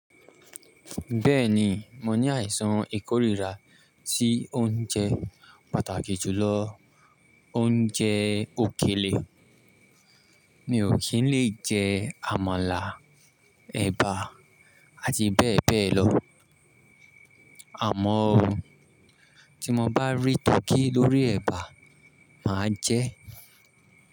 Bẹ́ẹ̀ni, mo ní àìsàn ìkórìíra tí ó ń jẹ́ pàtàkì jùlọ ónjẹ́ òkèlè. Mi ò kí ń le jẹ amala, ẹ̀bà àti bẹ́ẹ̀ bẹ́ẹ̀ lọ, àmọ́ o tí mo bá rí tọkí lórí ẹ̀bà, mà á jẹ ẹ́.